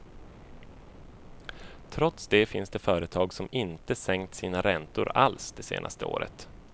Trots det finns det företag som inte sänkt sina räntor alls det senaste året.